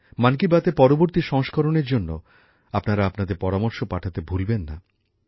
মন কি বাতএর পরবর্তী সংস্করণের জন্য আপনারা আপনাদের পরামর্শ পাঠাতে ভুলবেন না